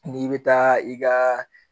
N'i bɛ taa i ka